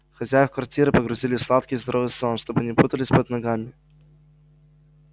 хозяев квартиры погрузили в сладкий и здоровый сон чтобы не путались под ногами